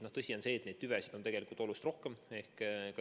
Tõsi on see, et neid tüvesid on oluliselt rohkem.